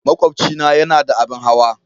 Makwabcina yana da abin hawa.